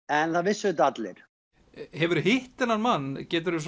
en það vissu þetta allir hefurðu hitt þennan mann geturðu